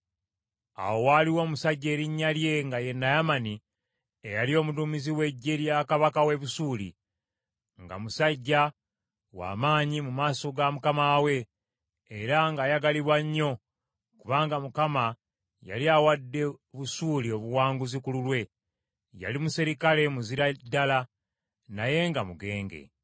Awo waaliwo omusajja erinnya lye nga ye Naamani eyali omuduumizi w’eggye lya kabaka w’e Busuuli , nga musajja wa maanyi mu maaso ga mukama we, era ng’ayagalibwa nnyo, kubanga Mukama yali awadde Busuuli obuwanguzi ku lulwe. Yali muserikale muzira ddala; naye nga mugenge.